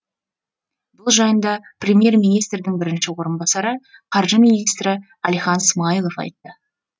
бұл жайында премьер министрдің бірінші орынбасары қаржы министрі әлихан смайылов айтты